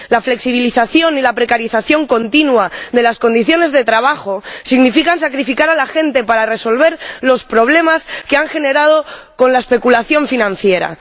La flexibilización y la precarización continua de las condiciones de trabajo significan sacrificar a la gente para resolver los problemas generados por la especulación financiera.